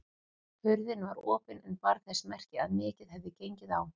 Hurðin var opin en bar þess merki að mikið hefði gengið á.